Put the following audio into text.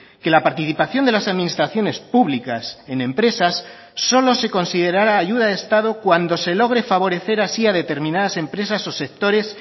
que la participación de las administraciones públicas en empresas solo se considerará ayuda de estado cuando se logre favorecer así a determinadas empresas o sectores